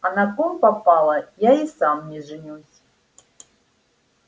а на ком попало я и сам не женюсь